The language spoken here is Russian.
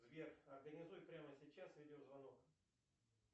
сбер организуй прямо сейчас видео звонок